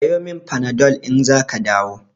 Siyo min Panadol in zaka dawo.